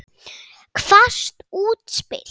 Hvasst útspil.